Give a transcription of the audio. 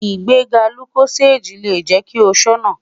Igbega Locozade le jẹ ki o ṣọna